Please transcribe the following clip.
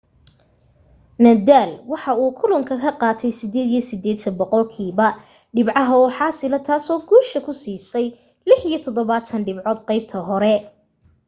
nadal waxa uu kulanka ka qaatay 88% dhibcaha oo xaasila taasoo guusha ku siisay 76 dhibcood qaybta hore